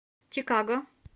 чикаго